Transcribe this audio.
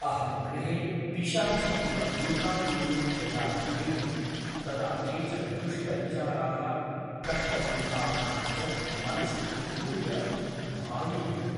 अहं गृहे पिशाची इव एकाकिनी यदा भवेयं तदा केचन दुष्टविचाराः कष्टसम्भावनाः च मनसि उद्भूय भाययन्ति ।